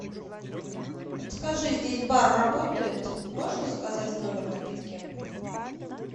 подскажи здесь бар работает можно заказать в номер напитки